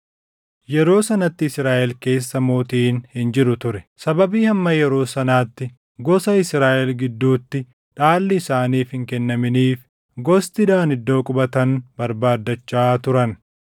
Yeroo sanatti Israaʼel keessa mootiin hin jiru ture. Sababii hamma yeroo sanaatti gosoota Israaʼel gidduutti dhaalli isaaniif hin kennaminiif gosti Daan iddoo qubatan barbaaddachaa turan.